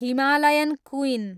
Himalayan queen